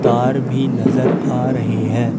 Car भी नजर आ रहे हैं।